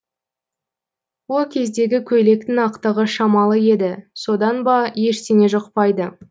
о кездегі көйлектің ақтығы шамалы еді содан ба ештеңе жұқпайды